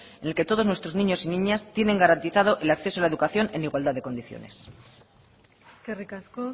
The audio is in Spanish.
en el que todos nuestros niños y niñas tienen garantizado el acceso a la educación en igualdad de condiciones eskerrik asko